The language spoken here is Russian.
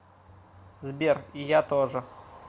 сбер и я тоже